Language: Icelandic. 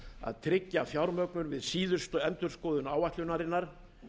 að tryggja fjármögnun við síðustu endurskoðun áætlunarinnar